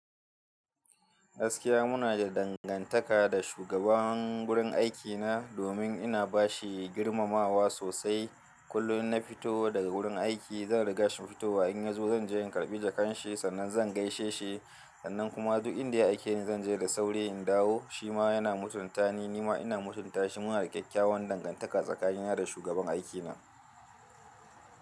Gaskiya muna da dangantaka da shugaban gurin aikina domin ina bashi girmamawa sosai. Kullum in na fito daga wurin aiki, zan riga shi fito. In ya zo, zan je in karɓi jakan shi sannan zan gaishe shi. Sannan kuma duk inda ya aike ni zan je da sauri in dawo. Shi ma yana mutunta ni, ni ma ina mutunta shi. Muna da kyakkyawan dangantaka tsakani ni da shugaban aikina.